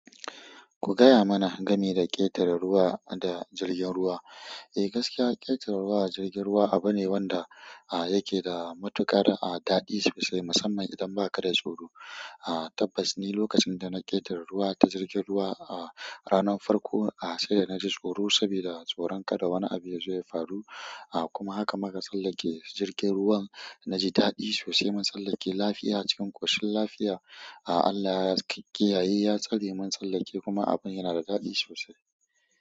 Ku gaya mana game da ƙetare ruwa da jirgin ruwa. Eh, gaskiya ƙetare ruwa da jirgin ruwa abune wanda yake da matuƙar daɗi sosai musamman idan baka da tsoro. Tabbas ni lokacin da na ƙetare ruwa ta jirgin ruwa ranan farko sai da naji tsoro saboda tsoron kada wani abu yazo ya faru. Kuma haka maka sallake jirgin ruwan na ji daɗi sosai. Mun tsallake lafiya cikin ƙoshin lafiya. Allah ya kiyaye, ya tsare mun tsallake kuma abu yana da daɗi sosai.